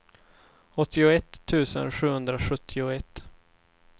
åttioett tusen sjuhundrasjuttioett